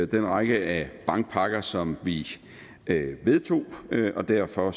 den række af bankpakker som vi vedtog og derfor